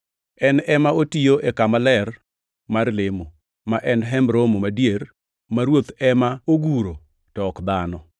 en ema otiyo e kama ler mar lemo, ma en Hemb Romo madier ma Ruoth ema oguro, to ok dhano.